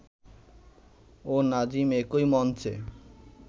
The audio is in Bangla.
ও নাজিম একই মঞ্চে